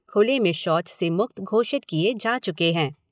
खुले में शौच से मुक्त घोषित किए जा चुके है।